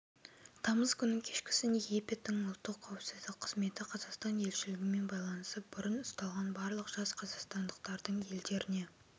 тамыз күні кешкісін египеттің ұлттық қауіпсіздік қызметі қазақстан елшілігімен байланысып бұрын ұсталған барлық жас қазақстандықтардың елдеріне